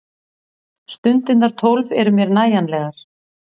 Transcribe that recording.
Stundirnar tólf eru mér nægjanlegar.